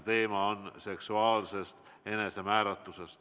Teema on seksuaalne enesemääratlus.